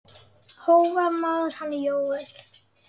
Hógvær maður, hann Jóel.